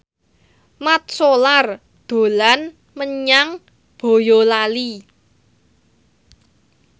Mat Solar dolan menyang Boyolali